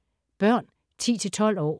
Børn 10-12 år